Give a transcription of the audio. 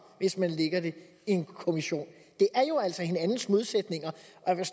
hvis man lægger det i en kommission det er jo altså hinandens modsætninger